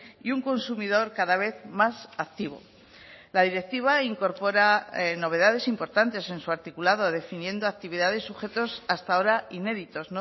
y un consumidor cada vez más activo la directiva incorpora novedades importantes en su articulado definiendo actividades sujetos hasta ahora inéditos